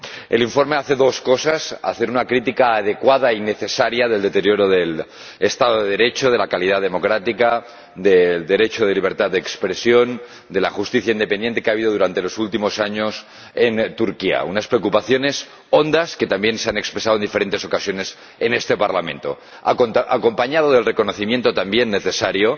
El informe hace dos cosas. Formula una crítica adecuada y necesaria del deterioro del Estado de Derecho, de la calidad democrática, del derecho a la libertad de expresión y de la justicia independiente que se ha producido durante los últimos años en Turquía, unas preocupaciones hondas que también se han expresado en diferentes ocasiones en este Parlamento. Asimismo plasma el reconocimiento, también necesario,